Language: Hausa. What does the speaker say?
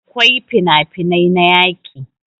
akwai finafinai na yaƙi